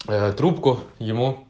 трубку ему